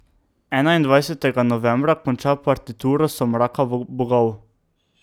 Enaindvajsetega novembra konča partituro Somraka bogov.